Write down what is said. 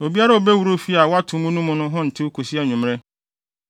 “Obiara a obewura ofi a wɔato mu no mu no ho ntew kosi anwummere.